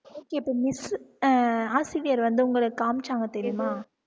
okay இப்ப miss அஹ் ஆசிரியர் வந்து உங்களுக்கு காமிச்சாங்க தெரியுமா